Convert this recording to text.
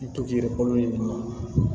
I to k'i yɛrɛ balo ni